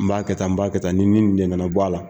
N b'a kɛ tan n b'a kɛ tan ni kana bɔ a la